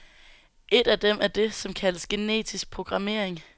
Et af dem er det, som kaldes genetisk programmering.